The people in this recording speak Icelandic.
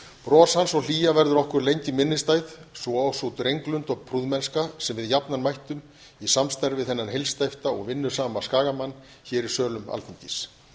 bros hans og hlýja verður okkur lengi minnisstæð svo og sú drenglund og prúðmennska sem við jafnan mættum í samstarfi við þennan heilsteypta og vinnusama skagamann hér í sölum alþingis